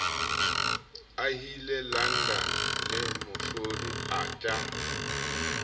ahile london le moahlodi arthur